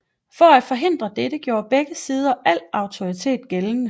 For at forhindre dette gjorde begge sider al autoritet gældende